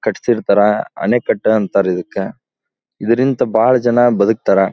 ಕಾಟ್ಟ್ಸಿರ್ತರ ಆಣೆಕಟ್ಟ ಅಂತರ ಇದಕ್ಕ ಇದರಿಂದ ಬಹಳ ಜನ ಬದುಕತ್ತಾರ.